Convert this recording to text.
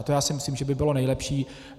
A to já si myslím, že by bylo nejlepší.